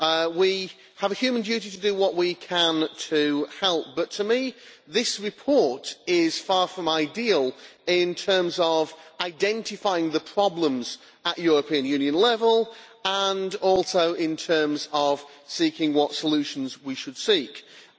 We have a human duty to do what we can to help, but to me this report is far from ideal in terms of identifying the problems at European Union level, and also in terms of seeking what solutions we should adopt.